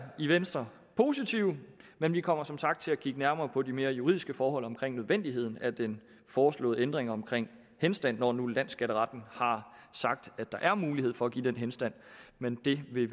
i venstre positive men vi kommer som sagt til at kigge nærmere på de mere juridiske forhold omkring nødvendigheden af den foreslåede ændring omkring henstand når nu landsskatteretten har sagt at der er mulighed for at give den henstand men vi vil